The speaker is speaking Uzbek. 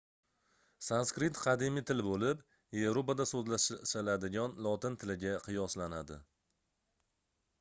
sanskrit qadimiy til boʻlib yevropada soʻzlashiladigan lotin tiliga qiyoslanadi